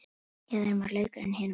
Í öðrum var laukur en hinum ekki.